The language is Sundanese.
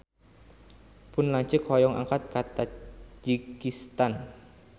Pun lanceuk hoyong angkat ka Tajikistan